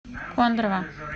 кондрово